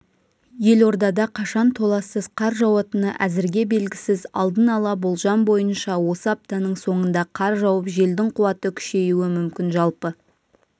елордада қашан толассыз қар жауатыны әзірге белгісіз алдын ала болжам бойынша осы аптаның соңында қар жауып желдің қуаты күшейюі мүмкін жалпы